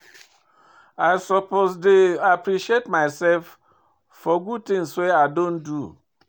I suppose dey appreciate myself for good things wey i don do.